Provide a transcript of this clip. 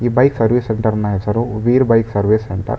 ಈ bike service ಸೆಂಟರ್ನ್ ಹೆಸರು ವೀರ್ ಬೈಕ್ ಸರ್ವೀಸ್ ಸೆಂಟರ್ .